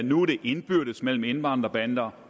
nu er det indbyrdes mellem indvandrerbander